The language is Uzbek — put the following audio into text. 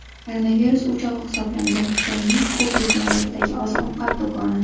Koronavirus o‘chog‘i hisoblangan Xitoyning Xubey viloyatidagi oziq-ovqat do‘koni.